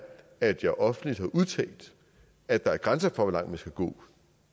at jeg offentligt har udtalt at der er grænser for hvor langt vi skal gå